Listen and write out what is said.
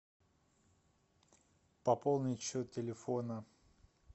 пополнить счет телефона